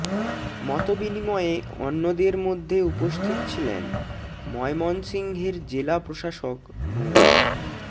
মতবিনিময়ে অন্যদের মধ্যে উপস্থিত ছিলেন ময়মনসিংহের জেলা প্রশাসক মো